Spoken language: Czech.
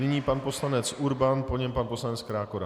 Nyní pan poslanec Urban, po něm pan poslanec Krákora.